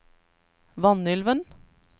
Vanylven